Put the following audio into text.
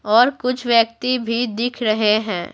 और कुछ व्यक्ति भी दिख रहे हैं।